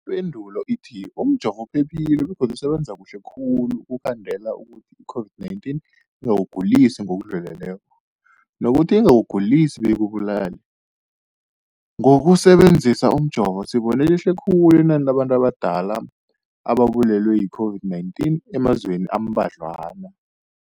Ipendulo, umjovo uphephile begodu usebenza kuhle khulu ukukhandela ukuthi i-COVID-19 ingakugulisi ngokudluleleko, nokuthi ingakugulisi beyikubulale. Ngokusebe nzisa umjovo, sibone lehle khulu inani labantu abadala ababulewe yi-COVID-19 emazweni ambadlwana.